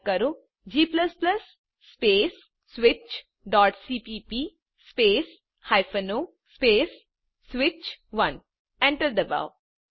type કરો160g space switchસીપીપી space o space સ્વિચ1 એન્ટર ડબાઓ